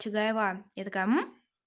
чудаева я такая